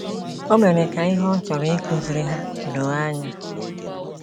O mere ka ihe ọ chọrọ ịkụziri ha doo anya.